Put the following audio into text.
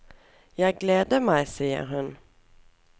Jeg gleder meg, sier hun.